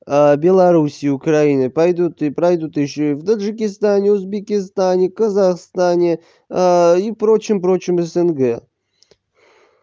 беларуси украины пойдут и пройдут ещё и в таджикистане узбекистане казахстане и прочим прочим снг